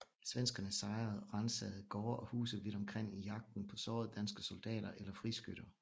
Svenskerne sejrede og ransagede gårde og huse vidt omkring i jagten på sårede danske soldater eller friskytter